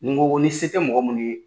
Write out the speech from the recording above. Ni n ko ko ni se tɛ mɔgɔ munnu ye.